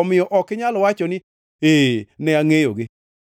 Omiyo ok inyal wacho ni, ‘Ee, ne angʼeyogi.’